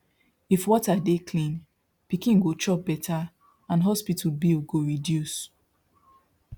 if water dey clean pikin go chop better and hospital bill go reduce